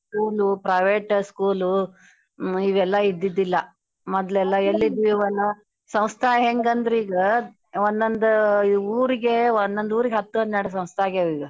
School private School ಇವೆಲ್ಲಾ ಇದ್ದಿದ್ದಿಲ್ಲ ಸಂಸ್ತಾ ಹೆಂಗಂದ್ರೀಗ ಒಂದೊಂದ ಊರಿಗೆ ಒಂದೊಂದ ಊರಿಗೆ ಹತ್ತು ಹನ್ನೆರಡು ಸಂಸ್ತ ಆಗ್ಯಾವಿಗ.